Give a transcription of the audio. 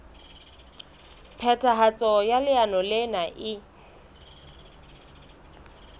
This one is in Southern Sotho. phethahatso ya leano lena e